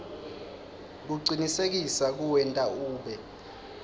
kucinisekisa kuwenta ube